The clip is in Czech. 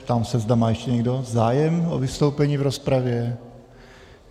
Ptám se, zda má ještě někdo zájem o vystoupení v rozpravě.